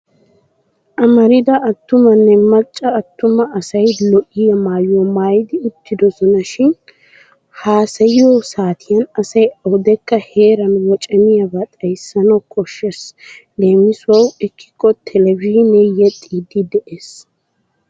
Amrida attumanne macca attuma asay lo'iyaa maayuwaa maayidi uttidosona. Shin haasayiyo saatiyan asay awudekka heeran wocamiyaaba xayissanawu koshshes leemisuwawu ekkikko televizhiinee yexxiiddi de'es.